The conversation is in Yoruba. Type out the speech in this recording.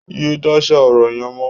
Yé dáṣà ọ̀rọ̀ yẹn mọ́!